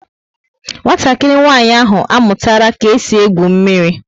Nwatakịrị nwanyị ahụ amụtara ka e si egwu mmírí